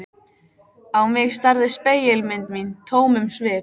Á mig starði spegilmynd mín tómum svip.